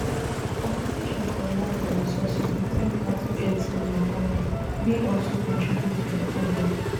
competition for land and resources between cattle herdsmen and farmers bin also contribute to di problem